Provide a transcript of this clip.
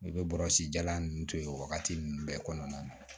I bɛ bɔrɔsi jalan ninnu to yen o wagati ninnu bɛɛ kɔnɔna na